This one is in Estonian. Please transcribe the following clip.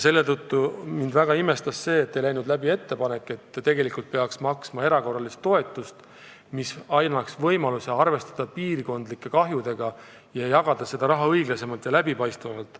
Selle tõttu pani mind väga imestama, et ei läinud läbi ettepanek maksta erakorralist toetust, mis annaks võimaluse arvestada piirkondlikke kahjusid ja jagada seda raha õiglasemalt ja läbipaistvamalt.